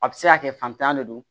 A bɛ se ka kɛ fantanya le don